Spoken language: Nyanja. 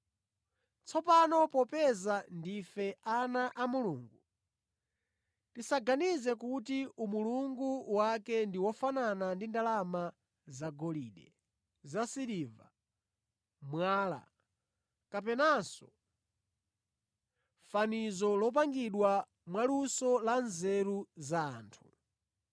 “Tsono popeza ndife ana a Mulungu, tisaganize kuti umulungu wake ndi wofanana ndi ndalama zagolide, zasiliva, mwala, kapenanso fanizo lopangidwa mwaluso la nzeru za anthu.